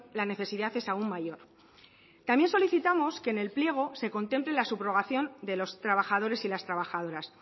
la necesidad es aún mayor también solicitamos que en el pliego se contemple la subrogación de los trabajadores y las trabajadoras